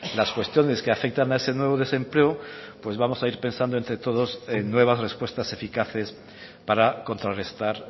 las cuestiones que afectan a ese nuevo desempleo pues vamos a ir pensando entre todos en nuevas respuestas eficaces para contrarrestar